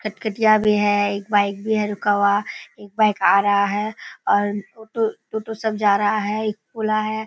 खटखटिया भी है। एक बाइक भी है रुका हुआ एक बाइक आ रहा है और टोटो टोटो सब जा रहा है एक पोला है।